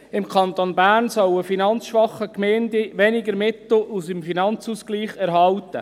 Im Kanton Bern sollen finanzschwache Gemeinden weniger Mittel aus dem Finanzausgleich erhalten.